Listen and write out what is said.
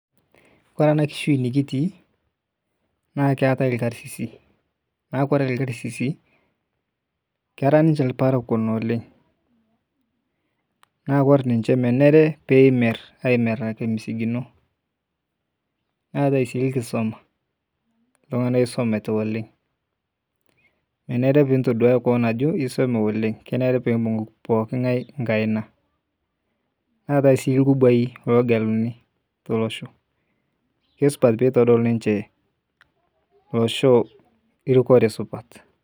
Kore ena kishui nikitii naa keetae ilkasisi naa kore ilkasisi na kera niche ilparakua oleng naa kore ninche menare pee emer ameraki imisigino neetae sii nkisoma ntung'anak oisumita oleng menare pee itoduwaya kewon ajo isume oleng kenare pee imbung' pooki ng'ae nkaina neetae sii nkubuai loogeluni tolosho isupat pee eitodol ninche olosho rikore supat